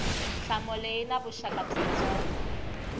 nhlamulo yi na vuxaka byitsongo